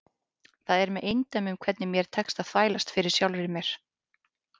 Það er með eindæmum hvernig mér tekst að þvælast fyrir sjálfri mér.